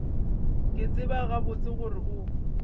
ke tseba gabotse gore o